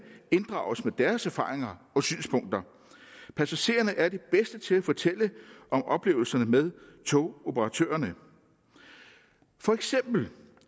inddrages med deres erfaringer og synspunkter passagererne er de bedste til at fortælle om oplevelserne med togoperatørerne for eksempel